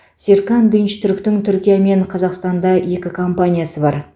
серкан динчтүріктің түркия мен қазақстанда екі компаниясы бар